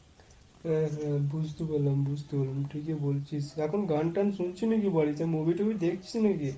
হ্যাঁ হ্যাঁ বুঝতে পারলাম বুঝতে পারলাম ঠিকই বলছিস। এখন গান টান শুনছি নাকি বাড়িতে ? movie টুভি দেখছিস নাকি?